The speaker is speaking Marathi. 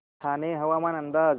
ठाणे हवामान अंदाज